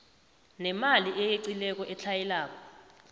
nemali eyeqileko etlhayelako